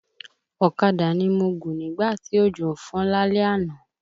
Ọ̀kadà ni mo gùn nígbà tí òjò ń fọ́n lálẹ́ àná